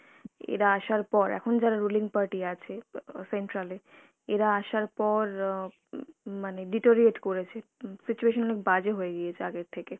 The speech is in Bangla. এরা আসার পর এখন যারা ruling party আছে অ্যাঁ central এ, এরা আসার পর অ্যাঁ উম মানে deteriorate করেছে, উম situation অনেক বাজে হয়ে গিয়েছে আগের থেকে